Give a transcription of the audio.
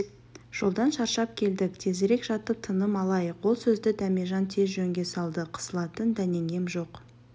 жолдан шаршап келдік тезірек жатып тыным алайық ол сөзді дәмежан тез жөнге салды қысылатын дәнеңем жоқ